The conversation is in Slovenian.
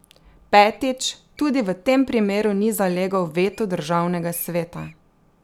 Petič, tudi v tem primeru ni zalegel veto državnega sveta.